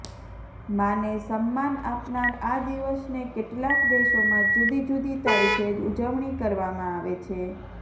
માને સમ્માન આપનાર આ દિવસને કેટલાક દેશોમાં જૂદી જૂદી તારીખે ઉજવણી કરવામાં આવે છે